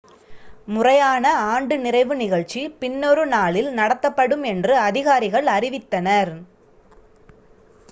முறையான ஆண்டு நிறைவு நிகழ்ச்சி பின்னொரு நாளில் நடத்தப்படும் என்று அதிகாரிகள் அறிவித்தனர்